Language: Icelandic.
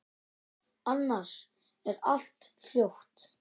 Annars er allt hljótt.